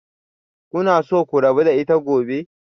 Kuna so ku rabu da ita gobe?